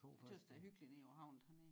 A tøs der er hyggeligt nede ved a havn dernede